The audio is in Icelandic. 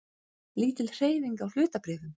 Lítil hreyfing á hlutabréfum